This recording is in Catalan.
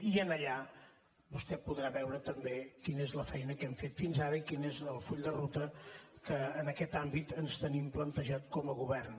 i allà vostè podrà veure també quina és la feina que hem fet fins ara i quin és el full de ruta que en aquest àmbit ens tenim plantejat com a govern